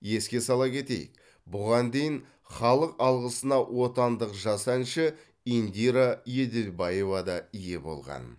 еске сала кетейік бұған дейін халық алғысына отандық жас әнші индира еділбаева да ие болған